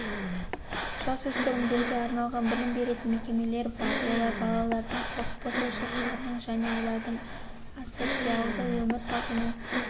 жасөспірімдерге арналған білім беретін мекемелер бар олар балалардың құқық бұзушылықтарының және олардың асоциалды өмір салтының